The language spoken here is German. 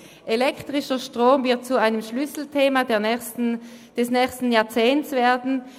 Elektrischer Strom wird zu einem Schlüsselthema des nächsten Jahrzehnts werden.